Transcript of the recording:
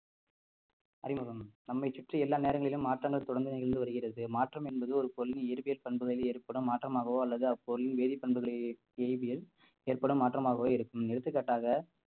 அறிமுகம் நம்மை சுற்றி எல்லா நேரங்களிலும் மாற்றங்கள் தொடர்ந்து நிகழ்ந்து வருகிறது மாற்றம் என்பது ஒரு கொள்கை இருபெயர் பண்புகளில் ஏற்படும் மாற்றமாகவோ அல்லது அப்பொருள் வேதிப்பண்புகளை எய்தியதில் ஏற்படும் மாற்றமாகவே இருக்கும் எடுத்துக்காட்டாக